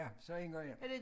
Ja så indgangen her